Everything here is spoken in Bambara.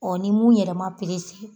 ni mun yɛrɛ ma